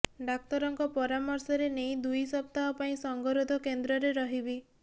ଡାକ୍ତରଙ୍କ ପରାମର୍ଶରେ ନେଇ ଦୁଇ ସପ୍ତାହ ପାଇଁ ସଙ୍ଗରୋଧ କେନ୍ଦ୍ରରେ ରହିବି